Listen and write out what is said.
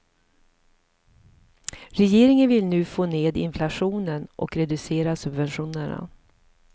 Regeringen vill nu få ned inflationen och reducera subventionerna.